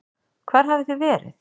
Hvar hafið þið verið?